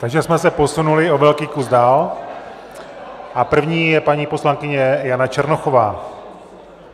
Takže jsme se posunuli o velký kus dál a první je paní poslankyně Jana Černochová.